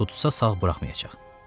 Tutsa sağ buraxmayacaq.